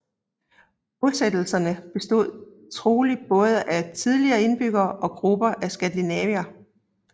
Bosættelserne bestod trolig både af tidligere indbyggere og grupper af skandinaver